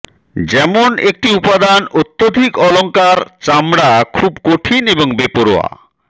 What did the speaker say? যেমন একটি উপাদান অত্যধিক অলঙ্কার চামড়া খুব কঠিন এবং বেপরোয়া